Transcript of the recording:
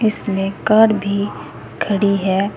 इसमें कार भी खड़ी है।